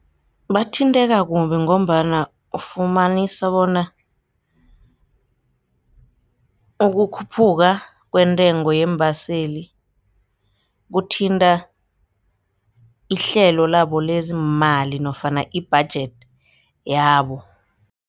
Bathinteka kumbi ngombana ufumanisa bona ukukhuphuka kwentengo yeembaseli kuthinta ihlelo labo lezeemali nofana i-budget yabo.